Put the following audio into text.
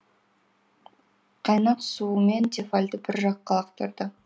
қайнақ суымен тефальді бір жаққа лақтырды